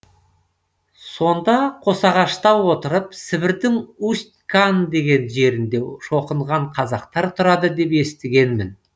сонда қосағашта отырып сібірдің усть кан деген жерінде шоқынған қазақтар тұрады деп естігенмін